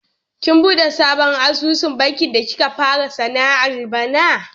Kin buɗe sabon asusun banki da kika fara sana'ar bana?